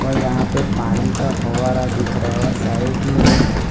और यहां पे पानी का फव्वारा दिख रहा है और साइड में एक --